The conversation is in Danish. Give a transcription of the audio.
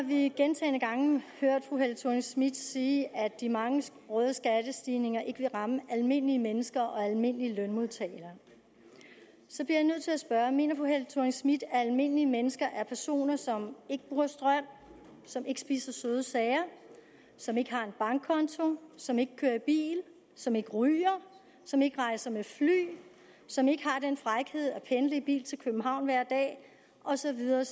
vi gentagne gange hørt fru helle thorning schmidt sige at de mange røde skattestigninger ikke vil ramme almindelige mennesker og almindelige lønmodtagere så bliver jeg nødt til at spørge mener fru helle thorning schmidt at almindelige mennesker er personer som ikke bruger strøm som ikke spiser søde sager som ikke har en bankkonto som ikke kører i bil som ikke ryger som ikke rejser med fly som ikke har den frækhed at pendle i bil til københavn hver dag og så videre